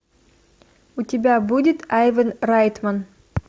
у тебя будет айван райтман